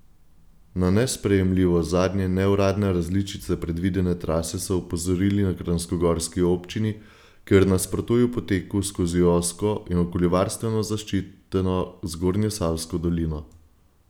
Na nesprejemljivost zadnje neuradne različice predvidene trase so opozorili na kranjskogorski občini, kjer nasprotujejo poteku skozi ozko in okoljevarstveno zaščiteno Zgornjesavsko dolino.